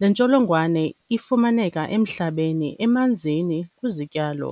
Le ntsholongwane ifumaneka emhlabeni, emanzini, kwizityalo.